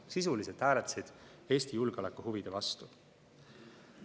Sisuliselt hääletasid nad Eesti julgeolekuhuvide vastu.